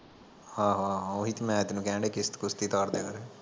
ਆਹੋ ਆਹੋ ਓਹੀ ਤੇ ਮੈਂ ਤੈਨੂ ਕਹਿਣਡਿਆ ਕਿਸਤ ਕੁਸਤ ਈ ਤਾਰਦਿਆ ਕਰ